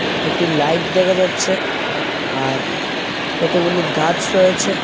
একটি লাইট দেখা যাচ্ছে আর কতগুলি গাছ রয়েছে।